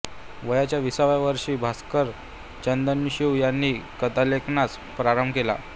वयाच्या विसाव्या वर्षी भास्कर चंदनशिव यांनी कथालेखनास प्रारंभ केला